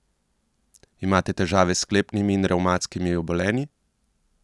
Imate težave s sklepnimi in revmatskimi obolenji?